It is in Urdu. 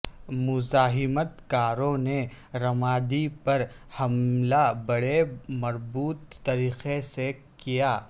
مزاحمت کاروں نے رمادی پر حملہ بڑے مربوط طریقے سے کیا